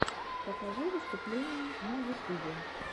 покажи выступления на ютубе